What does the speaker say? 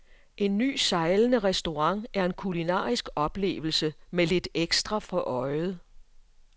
En ny sejlende restaurant er en kulinarisk oplevelse med lidt ekstra for øjet.